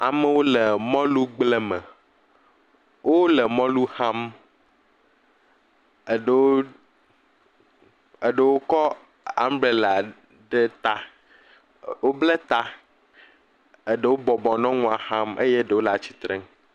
Amewo le mɔlugble me. Wole mɔlu xam. Eɖewo, eɖewo kɔ ambrela ɖe ta. Woblɛ ta, eɖewo bɔbɔ nɔ nua xam eye ɖewo le atsitrenu.